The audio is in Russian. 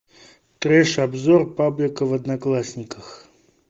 треш обзор паблика в одноклассниках